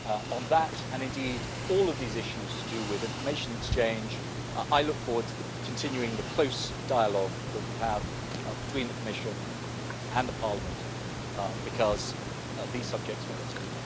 On that and indeed all of these issues to do with information exchange, I look forward to continuing the close dialogue that we have between the Commission and the Parliament because these subjects merit it.